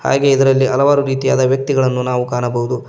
ಹಾಗೆ ಇದರಲ್ಲಿ ಹಲವಾರು ರೀತಿಯಾದ ವ್ಯಕ್ತಿಗಳನ್ನು ನಾವು ಕಾಣಬಹುದು.